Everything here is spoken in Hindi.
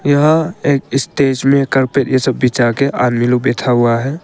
यह एक स्टेज में कार्पेट ये सब बिछा के आदमी लोग बैठा हुआ हैं।